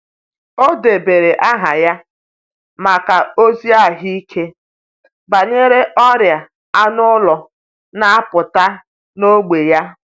Ọ debere aha ya maka ozi ahụike banyere ọrịa anụ ụlọ na-apụta n’ógbè ya.